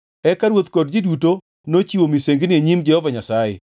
Eka ruoth kod ji duto nochiwo misengini e nyim Jehova Nyasaye.